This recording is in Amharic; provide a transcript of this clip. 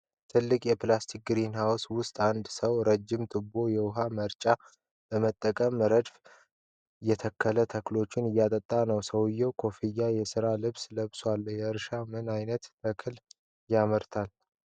ትልልቅ የፕላስቲክ ግሪንሃውስ (greenhouse) ውስጥ አንድ ሰው ረዥም ቱቦና የውሃ መርጫ በመጠቀም ረድፍ ረድፍ የተተከሉ ተክሎችን እያጠጣ ነው። ሰውዬው ኮፍያና የሥራ ልብስ ለብሷል። እርሻው ምን ዓይነት ተክል ያመርታል?